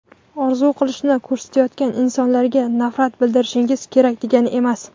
orzu qilishni ko‘rsatayotgan insonlarga nafrat bildirishingiz kerak degani emas.